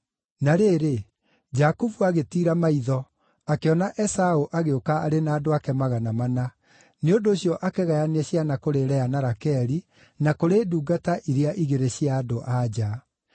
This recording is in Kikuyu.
Na rĩrĩ, Jakubu agĩtiira maitho, akĩona Esaũ agĩũka arĩ na andũ ake magana mana; nĩ ũndũ ũcio akĩgayania ciana kũrĩ Lea na Rakeli na kũrĩ ndungata iria igĩrĩ cia andũ-a-nja.